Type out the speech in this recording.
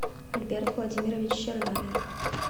альберт владимирович чернавин